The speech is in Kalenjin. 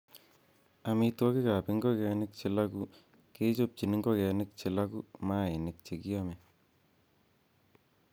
Amitwogik ab ingogenik che loogu kechobchin ingogenik che loogu mainik che kiome.